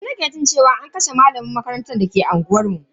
Yanzu nake jin cewa an kashe malamin makaranta dake unguwanmu.